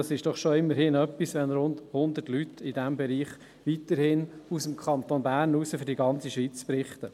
Es ist doch immerhin etwas, wenn rund hundert Leute in diesem Bereich weiterhin aus dem Kanton Bern für die ganze Schweiz berichten.